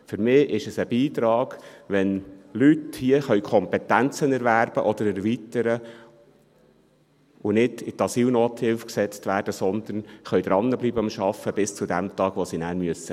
Für mich ist es ein Beitrag, wenn Leute hier Kompetenzen erwerben oder erweitern können und nicht in die Asylnothilfe gesetzt werden, sondern dranbleiben mit Arbeiten – bis zu dem Tag, an dem sie gehen müssen.